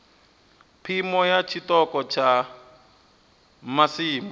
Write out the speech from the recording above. phimo ya tshiṱoko tsha masimu